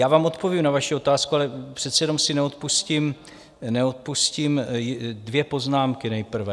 Já vám odpovím na vaši otázku, ale přece jenom si neodpustím dvě poznámky nejprve.